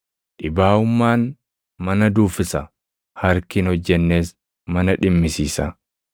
Dhibaaʼummaan, mana duuffisa; harki hin hojjennes mana dhimmisiisa.